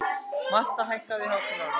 Malla, hækkaðu í hátalaranum.